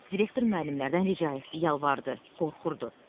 Direktor müəllimlərdən rica etdi, yalvardı, qorxurdu.